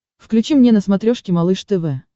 включи мне на смотрешке малыш тв